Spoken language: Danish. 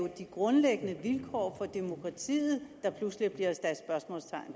de grundlæggende vilkår for demokratiet der pludselig bliver